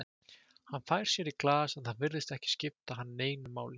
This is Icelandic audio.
Hann fær sér í glas, en það virðist ekki skipta hann neinu máli.